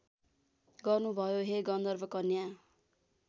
गर्नुभयो हे गन्धर्वकन्या